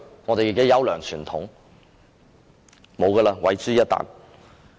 立法會的優良傳統，已經毀諸一旦。